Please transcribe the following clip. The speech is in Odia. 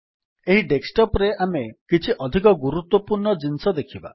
ଏହି ଡେସ୍କଟପ୍ ରେ ଆମେ କିଛି ଅଧିକ ଗୁରୁତ୍ୱପୂର୍ଣ୍ଣ ଜିନିଷ ଦେଖିବା